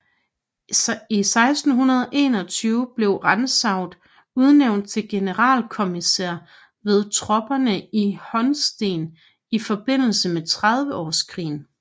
I 1621 blev Rantzau udnævnt til generalkrigskommissær ved tropperne i Holsten i forbindelse med Trediveårskrigen